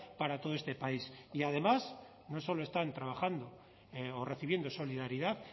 para todo este país y además no solo están trabajando o recibiendo solidaridad